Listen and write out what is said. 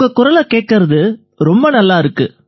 உங்க குரலை கேட்கறது ரொம்ப நல்லா இருக்கு